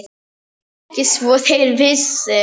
Ekki svo þeir vissu.